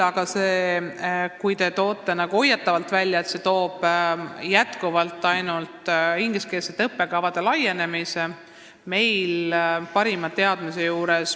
Te tõite nagu hoiatavalt välja, et see toob kaasa ainult ingliskeelsete õppekavade levimise.